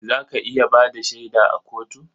Za ka iya ba da shaida a kotu?